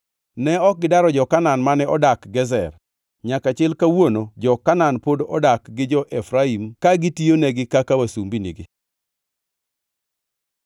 Ne ok gidaro jo-Kanaan mane odak Gezer. Nyaka chil kawuono jo-Kanaan pod odak gi jo-Efraim ka gitiyonegi kaka wasumbinigi.